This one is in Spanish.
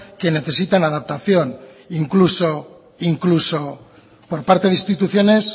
que necesitan adaptación incluso por parte de instituciones